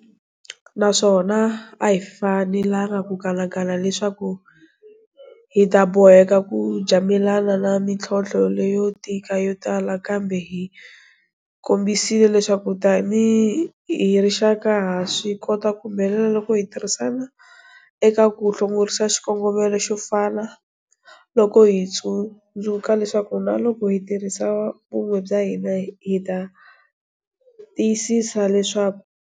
Naswona a hi fanelangi ku kanakana leswaku hi ta boheka ku jamelana na mintlhontlho leyo tika yo tala. Kambe hi kombisile leswaku, tanihi rixaka, ha swi kota ku humelela loko hi tirhisana eka ku hlongorisa xikongomelo xo fana. Loko hi tsundzuka leswaku, na loko hi tirhisa vun'we bya hina, hi ta tiyisisa leswaku.